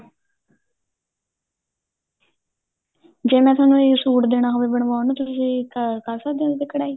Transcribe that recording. ਜੇ ਮੈਂ ਤੁਹਾਨੂੰ ਇਹ ਸੂਟ ਦੇਣਾ ਹੋ ਹੋਵੇ ਬਣਵਾਉਣ ਨੂੰ ਤੁਸੀਂ ਕਰ ਸਕਦੇ ਓ ਉਹਤੇ ਕਢਾਈ